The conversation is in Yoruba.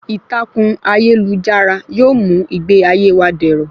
Ìtàkùn ayélujára yóò mú ìgbé ayé wa dẹ̀rọ̀